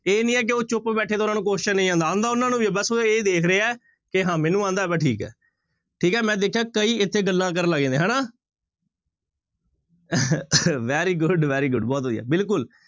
ਇਹ ਨੀ ਹੈ ਕਿ ਉਹ ਚੁੱਪ ਬੈਠੇ ਤੇ ਉਹਨਾਂ ਨੂੰ question ਨੀ ਆਉਂਦਾ, ਆਉਂਦਾ ਉਹਨਾਂ ਨੂੰ ਵੀ ਹੈ ਬਸ ਉਹ ਇਹ ਦੇਖਦੇ ਹੈ ਕਿ ਹਾਂ ਮੈਨੂੰ ਆਉਂਦਾ ਹੈ ਬਸ ਠੀਕ ਹੈ ਠੀਕ ਹੈ ਮੈਂ ਦੇਖਿਆ ਕਈ ਇੱਥੇ ਗੱਲਾਂ ਕਰਨ ਲੱਗ ਜਾਂਦੇ ਹਨਾ very good, very good ਬਹੁਤ ਵਧੀਆ ਬਿਲਕੁਲ,